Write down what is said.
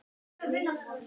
Amma fór í símann.